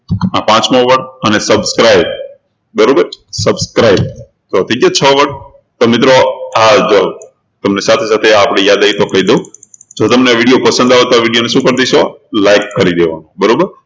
આ પાંચમો word અને subscribe બરોબર છે subscribe તો આ છ word તો મિત્રો આ જુઓ તમને સાથે સાથે આ યાદ આવ્યું તો કહી દઉં જો તમને video પસંદ આવતો હોય એ video ને શું કરી દેશો like કરી દેવાનુ બરોબર